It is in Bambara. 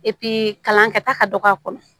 kalan kɛ ta ka dɔgɔ a kɔnɔ